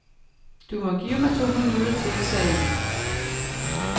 Du må give mig to minutter til, sagde hun.